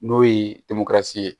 N'o ye ye